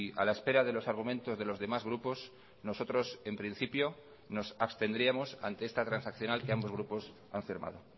a la espera de los argumentos de los demás grupos nosotros en principio nos abstendríamos ante esta transaccional que ambos grupos han firmado